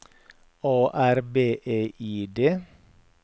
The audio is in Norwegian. A R B E I D